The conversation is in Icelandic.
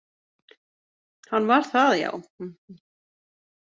Hann var það, já.